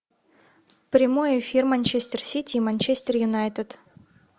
прямой эфир манчестер сити и манчестер юнайтед